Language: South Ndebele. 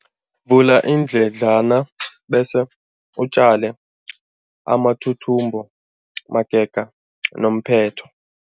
Vula iindledlana bese utjale amathuthumbo magega nomphetho.